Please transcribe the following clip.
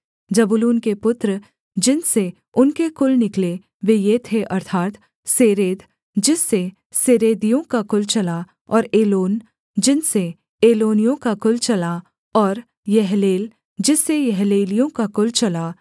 जबूलून के पुत्र जिनसे उनके कुल निकले वे ये थे अर्थात् सेरेद जिससे सेरेदियों का कुल चला और एलोन जिनसे एलोनियों का कुल चला और यहलेल जिससे यहलेलियों का कुल चला